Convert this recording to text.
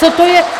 Co to je?